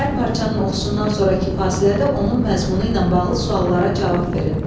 Hər parçanın oxunuşundan sonrakı fasilədə onun məzmunu ilə bağlı suallara cavab verin.